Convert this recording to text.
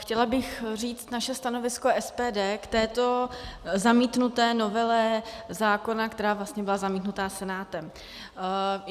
Chtěla bych říct naše stanovisko SPD k této zamítnuté novele zákona, která vlastně byla zamítnuta Senátem.